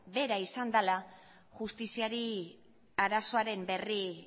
bera izan dala justiziari arazoaren berri